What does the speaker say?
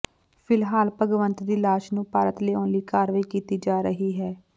ਫਿਲਹਾਲ ਭਗਵੰਤ ਦੀ ਲਾਸ਼ ਨੂੰ ਭਾਰਤ ਲਿਆਉਣ ਲਈ ਕਾਰਵਾਈ ਕੀਤੀ ਜਾ ਰਹੀ ਹੈ